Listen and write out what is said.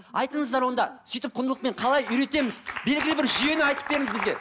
айтыңыздар онда сүйтіп құндылықпен қалай үйретеміз белгілі бір жүйені айтып беріңіз бізге